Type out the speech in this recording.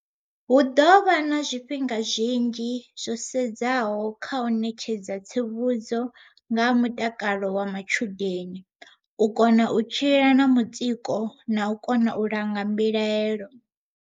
Hu ḓo vha na zwifhinga zwinzhi zwo sedzaho kha u ṋetshedza tsivhudzo nga ha mutakalo wa matshudeni, u kona u tshila na mutsiko na u kona u langa mbilaelo.